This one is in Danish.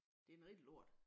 Det en rigtig lort